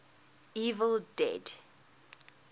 evil dead